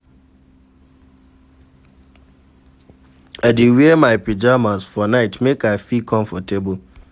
I dey wear my pajamas for night make I feel comfortable.